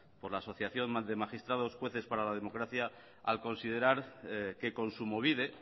por la asociación de magistrados jueces para la democracia al considerar que kontsumobide